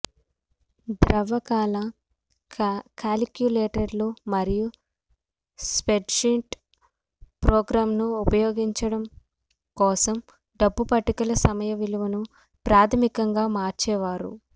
ద్రవ కాల కాలిక్యులేటర్లు మరియు స్ప్రెడ్షీట్ ప్రోగ్రామ్లను ఉపయోగించడం కోసం డబ్బు పట్టికల సమయ విలువను ప్రాథమికంగా మార్చేవారు